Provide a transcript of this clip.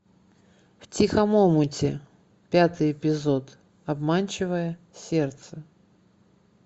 в тихом омуте пятый эпизод обманчивое сердце